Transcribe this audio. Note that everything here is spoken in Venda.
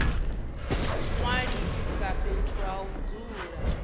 ṅwalisa fhethu ha u dzula